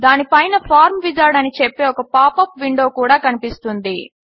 దానిపైన form wizard అని చెప్పే ఒక పాప్ అప్ విండో కూడా కనిపిస్తుంది